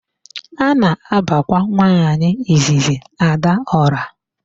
A na-abakwa nwaanyị izizi Adaọra.